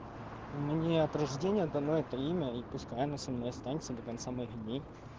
ну мне от рождения дано это имя и пускай оно со мной останется до конца моих дней